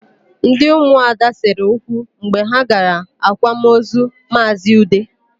Ndị ụmụada sere okwu mgbe ha gara akwamaozu Maazị Ude.